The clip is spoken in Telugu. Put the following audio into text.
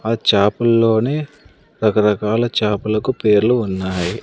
ఆ చాప్పల్లోనే రకరకాల చాపలకు పేర్లు ఉన్నాయి.